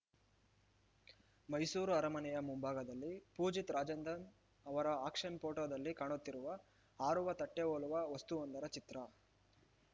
ಮೈಸೂರು ಅರಮನೆಯ ಮುಂಭಾಗದಲ್ಲಿ ಪೂಜಿತ್‌ ರಾಜೇಂದ್ರನ್‌ ಅವರ ಆಕ್ಷನ್‌ ಪೋಟೋದಲ್ಲಿ ಕಾಣುತ್ತಿರುವ ಹಾರುವ ತಟ್ಟೆಹೋಲುವ ವಸ್ತುವೊಂದರ ಚಿತ್ರ